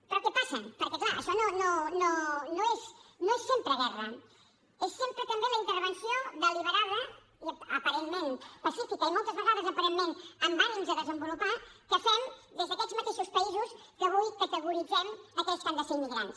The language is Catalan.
però què passa perquè clar això no és sempre guerra és sempre també la intervenció deliberada i aparentment pacífica i moltes vegades aparentment amb ànims de desenvolupar que fem des d’aquests mateixos països que avui categoritzem aquells que han de ser immigrants